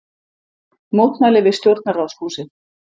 Mótmæli við Stjórnarráðshúsið